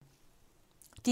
DR1